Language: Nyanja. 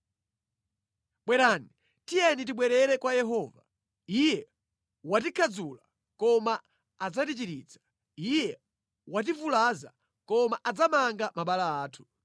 “Bwerani, tiyeni tibwerere kwa Yehova. Iye watikhadzula, koma adzatichiritsa. Iye wativulaza, koma adzamanga mabala athu.